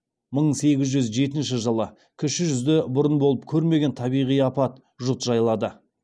мың сегіз жүз жетінші жылы кіші жүзді бұрын болып көрмеген табиғи апат жұт жайлады